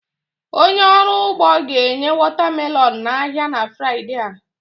Onye ọrụ ugbo ga-enye watermelon n'ahịa na Fraịdee a